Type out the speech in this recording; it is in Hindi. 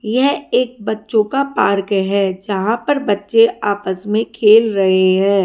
यह एक बच्चों का पार्क है जहां पर बच्चे आपस में खेल रहे हैं।